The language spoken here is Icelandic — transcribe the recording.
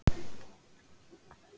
Þrymir, hvernig er dagskráin í dag?